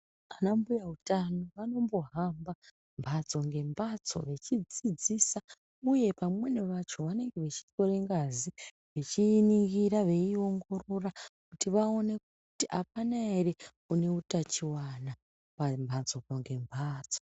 Ana mbuya utano vanombo hamba mbatso nge mbatso vechi dzidzisa uye vamweni vacho vanenge vechi tore ngazi echiyi ningirira veyi ongorora kuti vaone kuti apana ere ane utachiwana pa mbatso nge mbatso.